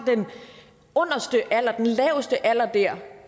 den laveste alder der